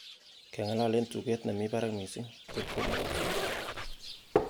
keng'alal en tuget nemi barak missing ng'ot komugakseg